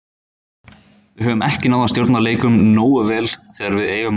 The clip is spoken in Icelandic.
Við höfum ekki náð að stjórna leikjum nógu vel þegar við eigum að gera það.